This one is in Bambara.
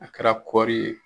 A kɛra kɔɔri ye